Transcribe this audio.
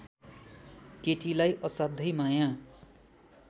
केटीलाई असाध्यै माया